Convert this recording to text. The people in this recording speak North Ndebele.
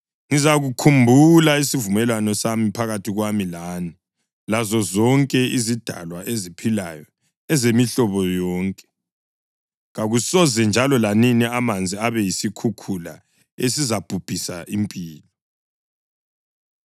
ngizakhumbula isivumelwano sami phakathi kwami lani lazozonke izidalwa eziphilayo ezemihlobo yonke. Kakusoze njalo lanini amanzi abe yisikhukhula esizabhubhisa impilo.